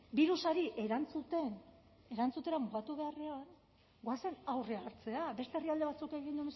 birusari erantzutera mugatu beharrean goazen aurrea hartzera beste herrialde batzuk egin